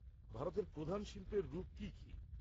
ভারতে প্রধান শিল্পের রূপ কি কি?